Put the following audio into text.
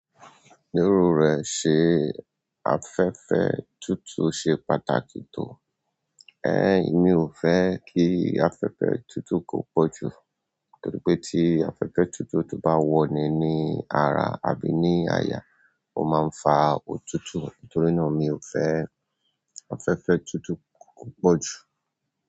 Lero rẹ̀ ṣe afẹ́fẹ́ tútù ṣe pàtàkì tó. Ẹ̀n, mi ò fẹ́ kí afẹ́fẹ́ tútù kó po jù. Torí pé tí afẹ́fẹ́ tútù tó bá wọ́ ni ní ara àbí ní àyà, ó máa ń fa òtútù. Nítorínà mio fe ki afẹ́fẹ́ tutu ki o po ju.